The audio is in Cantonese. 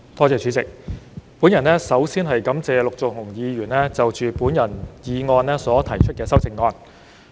主席，我首先感謝陸頌雄議員就我的議案提出修正案。